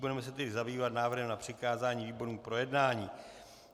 Budeme se tedy zabývat návrhem na přikázání výborům k projednání.